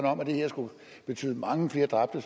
om at det skulle betyde mange flere dræbte